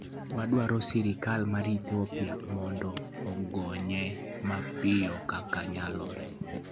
Waduaro sirkal mar Ethiopia mondo ogonye mapiyo kaka nyalore.